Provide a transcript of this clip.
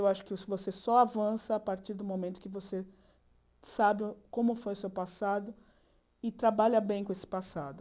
Eu acho que você só avança a partir do momento que você sabe como foi o seu passado e trabalha bem com esse passado.